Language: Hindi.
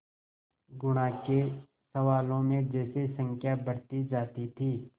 गुणा के सवालों में जैसे संख्या बढ़ती जाती थी